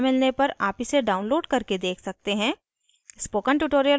अच्छी bandwidth न मिलने पर आप इसे download करके देख सकते हैं